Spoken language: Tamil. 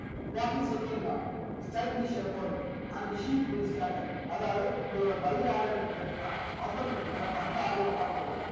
fourty second law and the sheep will sacttered அதாவது உங்கலோட பலி ஆட நீங்க வெட்டுனா automatic கா மத்த ஆடுகளும் போய்டும்